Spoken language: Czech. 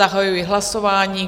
Zahajuji hlasování.